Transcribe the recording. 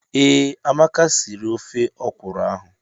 Ee, Amaka sịrị ofe ọkwụrụ ahụ.